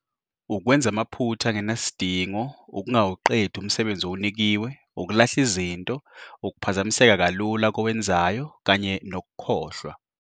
.ukwenza amaphutha angenasidingo ukungawuqedi umsebenzi owunikiwe ukulahla izinto ukuphazamiseka kalula kowenzayo kanye nokukhohlwa.